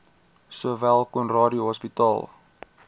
sowel conradie hospitaal